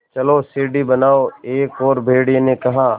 चलो सीढ़ी बनाओ एक और भेड़िए ने कहा